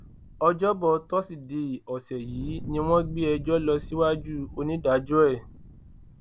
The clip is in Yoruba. ọjọbọ tọsídẹẹ ọsẹ yìí ni wọn gbé ẹjọ lọ síwájú onídàájọ ẹ